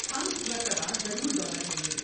ہم اس مرتبہ ضرور دورہ کریں گے۔